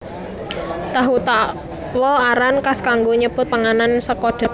Tahu Takwa aran kas kanggo nyebut panganan saka dhelé iki